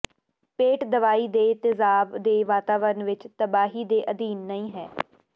ਪੇਟ ਦਵਾਈ ਦੇ ਤੇਜ਼ਾਬ ਦੇ ਵਾਤਾਵਰਣ ਵਿਚ ਤਬਾਹੀ ਦੇ ਅਧੀਨ ਨਹੀ ਹੈ